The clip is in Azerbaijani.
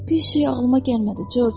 Piş şey ağlıma gəlmədi, Corc.